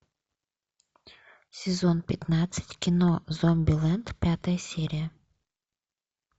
сезон пятнадцать кино зомбилэнд пятая серия